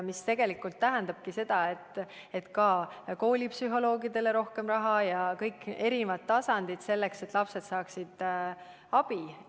See tegelikult tähendabki seda, et koolipsühholoogide rakendamiseks rohkem raha anda ja ka muudele tasanditele selleks, et lapsed saaksid abi.